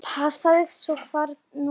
Passaðu svo hvar þú lemur.